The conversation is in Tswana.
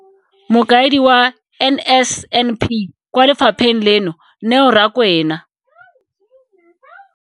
Mokaedi wa NSNP kwa lefapheng leno, Neo Rakwena.